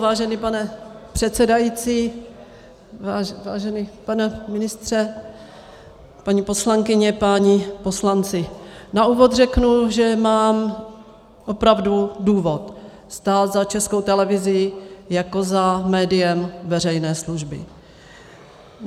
Vážený pane předsedající, vážený pane ministře, paní poslankyně, páni poslanci, na úvod řeknu, že mám opravdu důvod stát za Českou televizí jako za médiem veřejné služby.